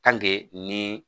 ni